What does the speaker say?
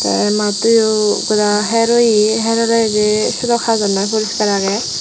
te mattoyo goda her oye her oleyo je sedok hajor noi poriskar agey.